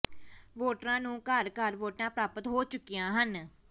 ਵੋਟਰਾਂ ਨੂੰ ਘਰ ਘਰ ਵੋਟਾਂ ਪ੍ਰਾਪਤ ਹੋ ਚੁੱਕੀਆਂ ਹਨ